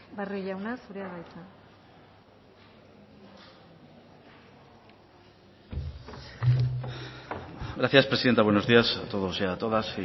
barrio jauna zurea da hitza gracias presidenta buenos días a todos y a todas